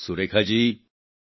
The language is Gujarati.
સુરેખા જી k